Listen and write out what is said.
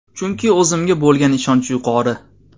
Chunki o‘zimga bo‘lgan ishonch yuqori!